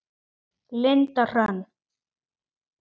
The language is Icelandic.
Linda Hrönn.